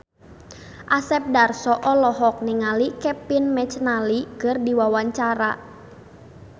Asep Darso olohok ningali Kevin McNally keur diwawancara